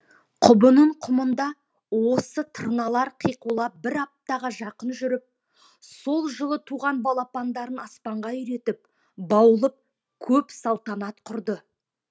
құбының құмында осы тырналар қиқулап бір аптаға жақын жүріп сол жылы туған балапандарын аспанға үйретіп баулып көп салтанат құрды